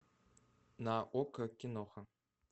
на окко киноха